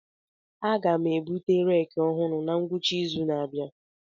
Aga m ebute reeki ọhụrụ na ngwụcha izu na-abịa.